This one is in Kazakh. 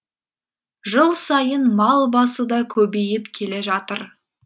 жыл сайын мал басы да көбейіп келе жатыр